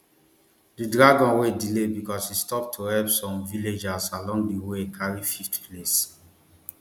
di dragon wey delay becos e stop to help some villagers along di way carry fifth place